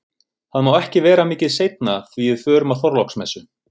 Það má ekki vera mikið seinna því við förum á Þorláksmessu